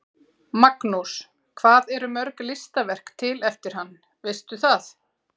Magnús: Hvað eru mörg listaverk til eftir hann, veistu það?